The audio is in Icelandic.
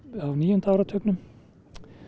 níunda áratugnum